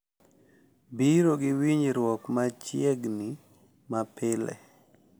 Biro gi winjruok machiegni mapile